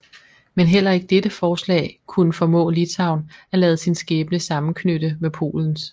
Men heller ikke dette forslag kunne formå Litauen at lade sin skæbne sammenknytte med Polens